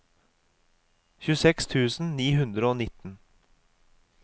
tjueseks tusen ni hundre og nitten